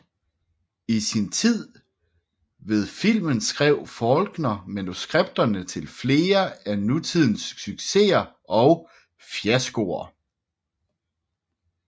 I sin tid ved filmen skrev Faulkner manuskripterne til flere af tidens succeser og fiaskoer